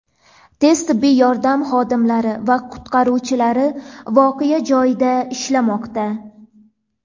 Tez-tibbiy yordam xodimlari va qutqaruvchilar voqea joyida ishlamoqda.